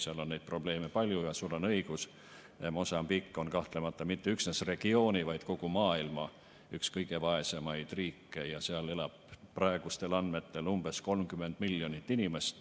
Seal on neid probleeme palju ja sul on õigus, Mosambiik on kahtlemata mitte üksnes regiooni, vaid kogu maailma üks kõige vaesemaid riike ja seal elab praegustel andmetel umbes 30 miljonit inimest.